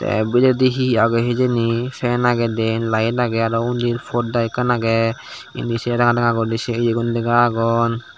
tey biyedi he agey hijeni fan agey diyen light agey aro undi podda ekkan agey indi se ranga ranga guri se yegun lega agonn.